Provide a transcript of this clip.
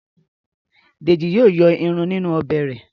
Deji yíò yọ ìrù ninu Ọbẹ̀ re.